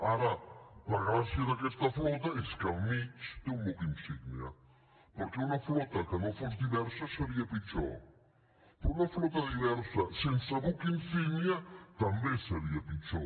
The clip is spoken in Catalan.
ara la gràcia d’aquesta flota és que al mig té un buc insígnia perquè una flota que no fos diversa seria pitjor però una flota diversa sense buc insígnia també seria pitjor